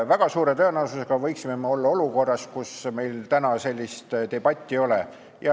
Väga suure tõenäosusega võiksime me olla olukorras, kus meil täna sellist debatti ei oleks.